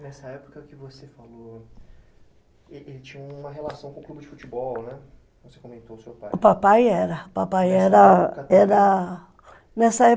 Nessa época que você falou, ele tinha uma relação com o clube de futebol, né? Você comentou seu pai, o papai era, o papai era era, nessa época